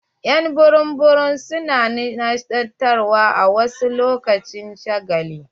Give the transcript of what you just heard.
Y'an burum burum su na nishaɗantar wa lokacin shagali.